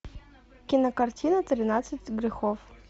кинокартина тринадцать грехов